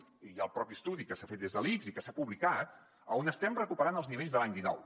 bé hi ha el propi estudi que s’ha fet des de l’ics i que s’ha publicat on estem recuperant els nivells de l’any dinou